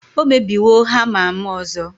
o mebiwo hama'm ọzọ